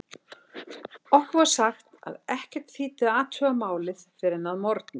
Okkur var sagt að ekkert þýddi að athuga málið fyrr en að morgni.